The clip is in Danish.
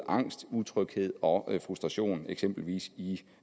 angst utryghed og frustration eksempelvis i